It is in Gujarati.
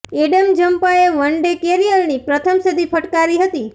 એડમ ઝમ્પાએ વન ડે કરિયરની પ્રથમ સદી ફટકારી હતી